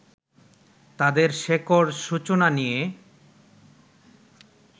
তাঁদের শেকড় সূচনা নিয়ে